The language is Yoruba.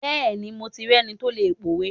Bẹẹni, mo lẹni tó lè p'owe.